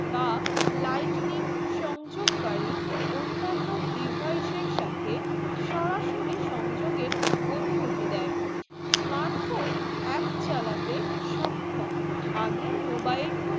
বা lightning সংযুক্ত গাড়ি অন্নান্ন devices এর সাথে সরাসরি সংযোগে অনুমতি দায়ে smart phone app চালাতে সক্ষম আগের mobile phone